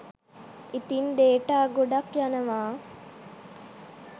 ඉතින් ඩේටා ගොඩක් යනවා